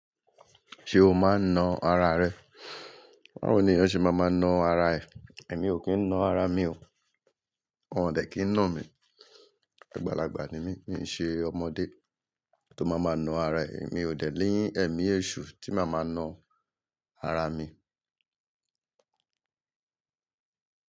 Ṣé o máa ń na ara rẹ? Ba wo ní ẹyan ṣe má ma na ara ẹ̀. Èmi ò kín ń ná ara mi o. Wọn ò dẹ̀ kín ń ná mi. Àgbàlagbà ni mí, mì í ṣe ọmọdé tó máa máa na ara ẹ̀. Èmi ò dẹ̀ ni ẹ̀mí èṣù tí màá máa na ara mi.